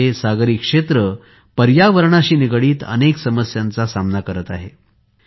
आपला हा सागरी क्षेत्र पर्यावरणाशी निगडित अनेक समस्यांचा सामना करत करत आहे